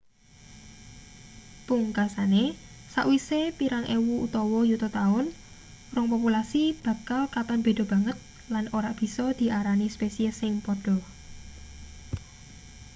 pungkasane sawise pirang ewu utawa yuta taun rong populasi bakal katon beda banget lan ora bisa diarani spesies sing padha